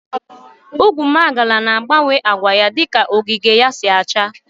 Ugwumagala na agbawe agwa ya dika ogige ya SI acha.